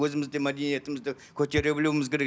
өзіміз де мәдениетімізді көтере білуіміз